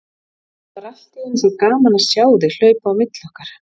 Það var allt í einu svo gaman að sjá þig hlaupa á milli okkar.